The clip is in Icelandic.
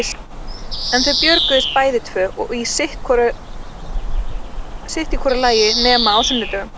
En þau björguðust bæði tvö og sitt í hvoru lagi nema á sunnudögum.